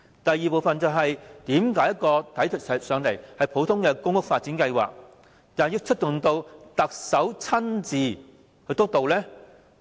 第二，為何一個普通公屋發展計劃，要由特首親自督導？